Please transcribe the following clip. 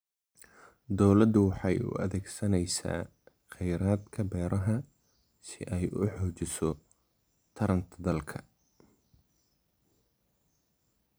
Dawladdu waxay u adeegsanaysaa kheyraadka beeraha si ay u xoojiso taranta dalka.